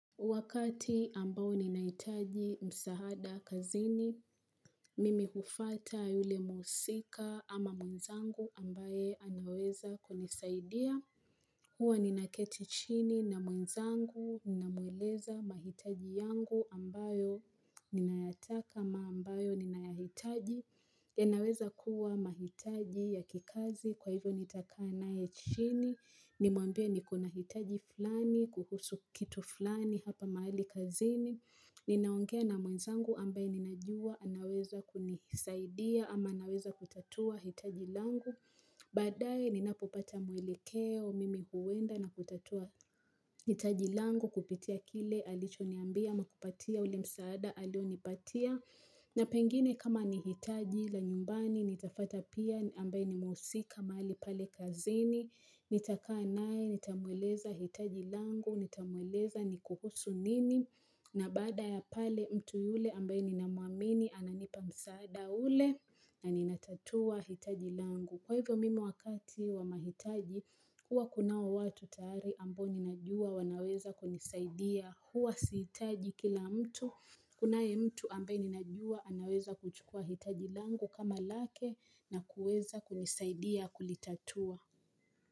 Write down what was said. Wakati ambao ninahitaji msaada kazini, mimi hufuata yule mhusika ama mwenzangu ambaye anaweza kunisaidia. Huwa ninaketi chini na mwenzangu, ninamweleza mahitaji yangu ambayo ninayataka ama ambayo ninayahitaji. Yanaweza kuwa mahitaji ya kikazi kwa hivyo nitakaa naye chini nimwambia niko na hitaji fulani kuhusu kitu fulani hapa mahali kazini ninaongea na mwenzangu ambaye ninajua anaweza kunisaidia ama anaweza kutatua hitaji langu baadaye ninapopata mwelekeo mimi huenda na kutatua hitaji langu kupitia kile alichoniambia ama kupatia ule msaada alionipatia na pengine kama nihitaji la nyumbani, nitafata pia ambaye ni mhusika mahali pale kazini, nitakaa naye, nitamweleza hitaji langu, nitamweleza ni kuhusu nini, na baada ya pale mtu yule ambaye ninamwamini, ananipa msaada ule, na ninatatua hitaji langu. Kwa hivyo mimi wakati wa mahitaji huwa kunao watu tayari ambao ninajua wanaweza kunisaidia huwa sihitaji kila mtu Kunaye mtu ambaye ninajua anaweza kuchukua hitaji langu kama lake na kuweza kunisaidia kulitatua.